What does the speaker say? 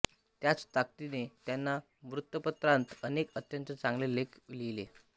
त्याच ताकदीने त्यांनी वृत्तपत्रांत अनेक अत्यंत चांगले लेख लिहिले